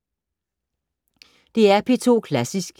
DR P2 Klassisk